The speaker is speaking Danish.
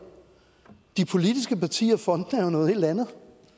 de politiske partier og fondene er jo noget helt andet